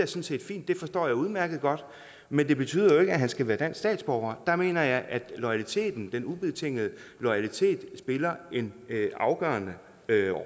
set fint det forstår jeg udmærket godt men det betyder jo ikke at han skal være dansk statsborger der mener jeg at loyaliteten den ubetingede loyalitet spiller en afgørende